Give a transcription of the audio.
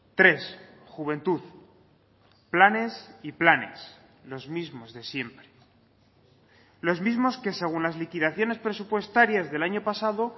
tres juventud planes y planes los mismos de siempre los mismos que según las liquidaciones presupuestarias del año pasado